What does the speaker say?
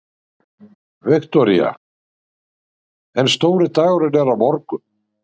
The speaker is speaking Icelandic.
Viktoría: En stóri dagurinn er á morgun?